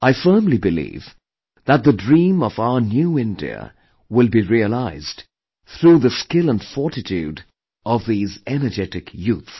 I firmly believe that the dream of our 'New India' will be realized through the skill & fortitude of these energetic youth